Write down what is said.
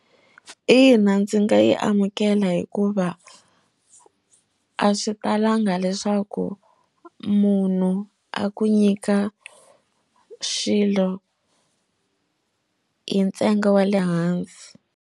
Ina ndzi nga yi amukela hikuva a swi talanga leswaku munhu a ku nyika xilo hi ntsengo wa le hansi.